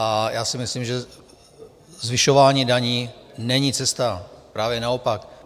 A já si myslím, že zvyšování daní není cesta, právě naopak.